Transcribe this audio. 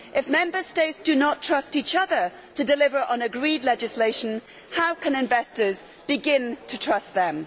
If Member States do not trust each other to deliver on agreed legislation, how can investors begin to trust them?